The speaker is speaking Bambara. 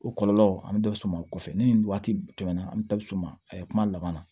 O kɔlɔlɔw an bɛ dɔ s'u ma o kɔfɛ ni nin waati tɛmɛna an bɛ taa bɛ suma a ye kuma laban na